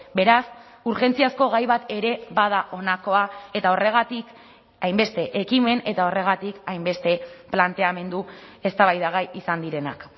beraz urgentziazko gai bat ere bada honakoa eta horregatik hainbeste ekimen eta horregatik hainbeste planteamendu eztabaidagai izan direnak